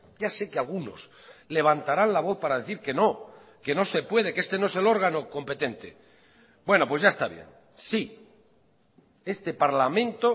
ya sé que algunos levantarán la voz para decir que no que no se puede que este no es el órgano competente bueno pues ya está bien sí este parlamento